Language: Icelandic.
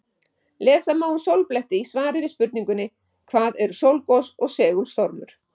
Lesa má um sólbletti í svari við spurningunni Hvað eru sólgos og segulstormur?